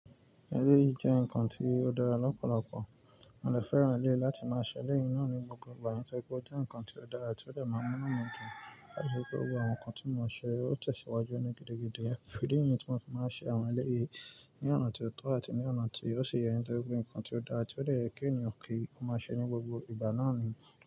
Ẹlẹ́yìí jẹ́ nǹkan tí ó dára lọ́pọ̀lọpọ̀. Mo dè fẹ́ràn ẹlẹ́yi láti máa ṣẹ elẹ̀yii naa ní gbogbo ìgbà. Wọ́n fẹ́ kí ó jẹ́ nǹkan tí ó dára ti ó de máa mú inú wọn dùn. Láti ri pé ó wu àwọn nǹkan tí mo ṣe, ó tẹ̀síwájú ni gidi gidi. Idi nyìí tí mo máa ń fi iṣe àwọn ẹlẹ́rìí ní ọ̀nà tí ó tọ́ àti ní ọ̀nà tí ó ṣi yẹ kí wọ́n mú nǹkan tí ó dára tí ó lè yẹ kí ènìyàn kí o máa ṣe ní gbogbo ìgbà náà ni.